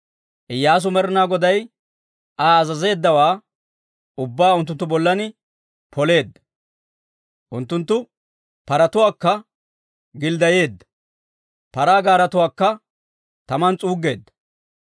Iyyaasu Med'ina Goday Aa azazeeddawaa ubbaa unttunttu bollan poleedda; unttunttu paratuwaakka gilddayeedda; paraa gaaretuwaakka taman s'uuggeedda.